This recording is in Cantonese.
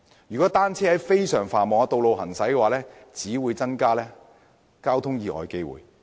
如果單車在非常繁忙的道路行駛，只會增加交通意外的機會。